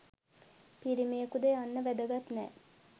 පිරිමියකුද යන්න වැදගත් නෑ